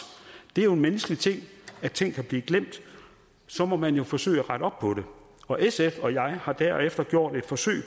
det er jo menneskeligt at ting kan blive glemt og så må man forsøge at rette op på det og sf og jeg har derefter gjort et forsøg